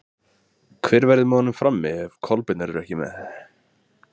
Hver verður með honum frammi ef Kolbeinn verður ekki með?